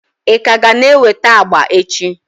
ị ka ga na-eweta agba echi?